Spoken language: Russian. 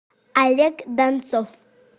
олег донцов